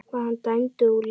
Var hann dæmdur úr leik?